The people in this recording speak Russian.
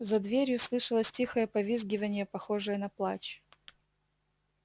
за дверью слышалось тихое повизгиванье похожее на плач